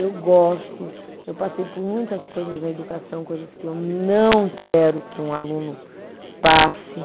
Eu gosto, eu passei por muitas coisas na educação, coisas que eu não quero que um aluno passe.